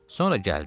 Sonra gəldi.